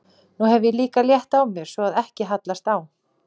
Nú hef ég líka létt á mér, svo að ekki hallast á.